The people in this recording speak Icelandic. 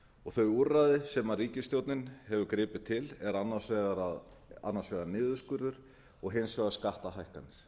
og þau úrræði sem ríkisstjórnin hefur gripið til er annars vegar niðurskurður og hins vegar skattahækkanir